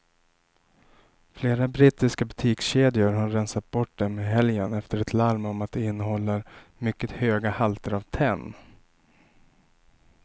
Flera brittiska butikskedjor har rensat bort dem i helgen efter ett larm om att de innehåller mycket höga halter av tenn.